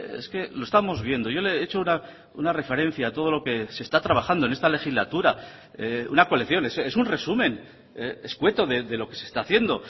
es que lo estamos viendo yo le he hecho una referencia a todo lo que se está trabajando en esta legislatura una colección es un resumen escueto de lo que se está haciendo